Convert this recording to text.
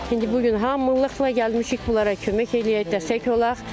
İndi bu gün hamılıqla gəlmişik bunlara kömək eləyək, dəstək olaq.